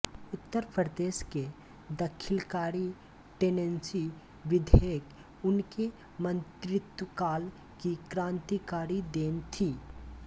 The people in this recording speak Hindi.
उत्तर प्रदेश के दखीलकारी टेनेंसी विधेयक उनके मंत्रित्वकाल की क्रांतिकारी देन थी